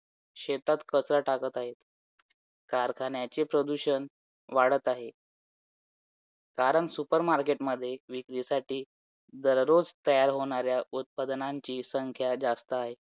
तर ह्या या वर्षी पण आशा आहे की twenty five प्रश्न येतीलच कारण current वरती तर सध्या तेच चालय current affair करायच twenty आणि twenty three च